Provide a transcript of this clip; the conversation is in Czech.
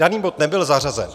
Daný bod nebyl zařazen.